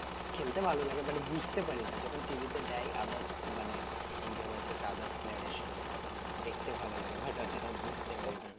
খেলতে ভালো লাগে but বুঝতে পারিনা যখন TV দেই others মানে ইন্ডিয়া vs others player এর সঙ্গে তখন দেখতে ভালো লাগে but অতটাও বুঝতে পারিনা